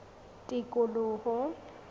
tikoloho